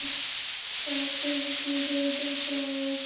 Það var kosið tvisvar sinnum til þings það ár.